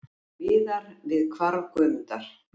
Viðar við hvarf Guðmundar.